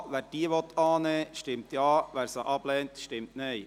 Wer diese annehmen will, stimmt Ja, wer sie ablehnt, stimmt Nein.